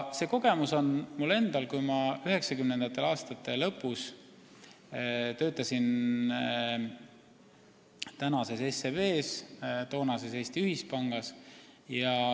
See kogemus on ka mul endal, kui ma 1990. aastate lõpus töötasin SEB-is, toonases Eesti Ühispangas.